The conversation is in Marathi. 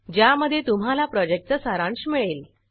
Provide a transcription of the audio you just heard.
ज्यामध्ये तुम्हाला प्रॉजेक्टचा सारांश मिळेल